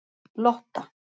Lotta